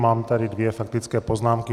Mám tady dvě faktické poznámky.